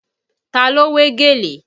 Ta ló wé gèlè?